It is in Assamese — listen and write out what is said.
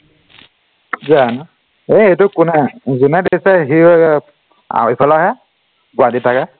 জানো এৰ এইটো কোনে জোনে দিছে সিও এইফালৰহে গুৱাহাটী চাগে